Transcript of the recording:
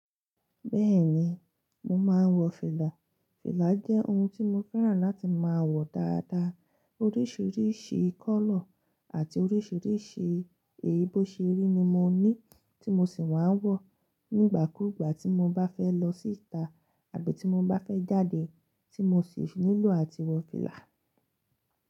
Bẹ́ẹ̀ni, mo máa ń wọ fìlà. Fìlà jẹ́ ohun tí mo fẹ́ràn láti máa wọ dáadáa. Oríṣiríṣi colour àti oríṣiríṣi èyí bó ṣe rí ni mo ní, tí mo sì máa ń wọ. Nígbà kuúgbà tí mo bá fẹ́ lọ sí ìta àbí tí mo bá fẹ́ jáde, tí mo sì nílò àti wọ fìlà.